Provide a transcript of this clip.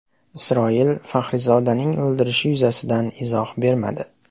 Isroil Faxrizodaning o‘ldirilishi yuzasidan izoh bermadi.